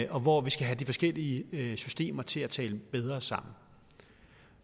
og hvor vi skal have de forskellige systemer til at tale bedre sammen